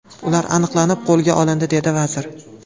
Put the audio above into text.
Ular aniqlanib, qo‘lga olindi”, dedi vazir.